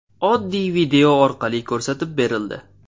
Oddiy video orqali ko‘rsatib berildi.